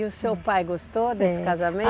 E o seu pai gostou desse casamento?